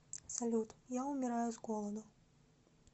салют я умираю с голоду